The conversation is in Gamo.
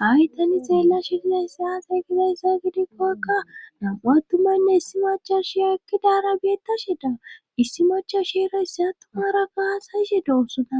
hawi tani xeella shize ssaasa eygizayssa gidikkokkaaattumaynne issi macha shiya ekkidara beettashe daa issi macho shierayssi attumara gaasayishe do osona